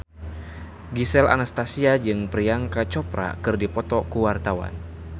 Gisel Anastasia jeung Priyanka Chopra keur dipoto ku wartawan